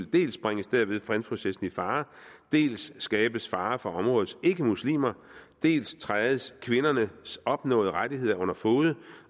dels bringes derved fredsprocessen i fare dels skabes fare for områdets ikkemuslimer dels trædes kvindernes opnåede rettigheder under fode